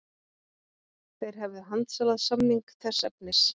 Þeir hefðu handsalað samning þess efnis